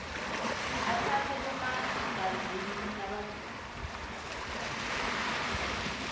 atsatse bomagazini lababili